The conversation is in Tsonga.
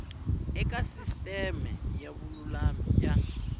eka sisiteme ya vululami ya